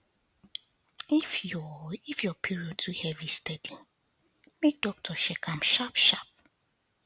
if your if your period too heavy steady make doctor check am sharp sharp